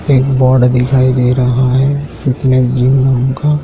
एक बोर्ड दिखाई दे रहा है फिटनेस जिम का--